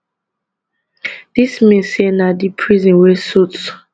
dis mean say na di prison wey suit